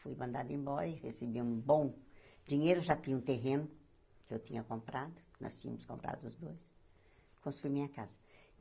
Fui mandada embora e recebi um bom dinheiro, já tinha um terreno que eu tinha comprado, nós tínhamos comprado os dois, construí minha casa.